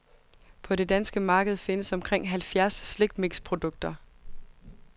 På det danske marked findes omkring halvfjerds slikmixprodukter.